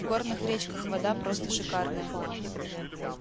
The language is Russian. в горных речках вода просто шикарная